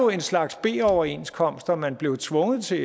en slags b overenskomst som man blev tvunget til